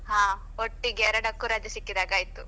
ಹಾ ಒಟ್ಟಿಗೆ ಎರಡಕ್ಕೂ ರಜೆ ಸಿಕ್ಕಿದಾಗೆ ಆಯ್ತು.